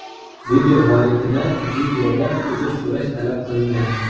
Video muallifidan videoda uzr so‘rash talab qilingan.